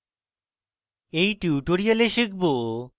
in tutorial শিখব: